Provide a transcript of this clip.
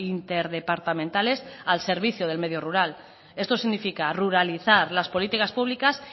interdepartamentales al servicio del medio rural esto significa ruralizar las políticas públicas